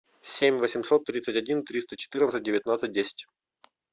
семь восемьсот тридцать один триста четырнадцать девятнадцать десять